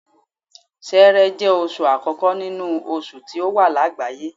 Ṣẹẹrẹ jẹ́ oṣù àkókò nínú oṣù tí ó wà lágbàáyé.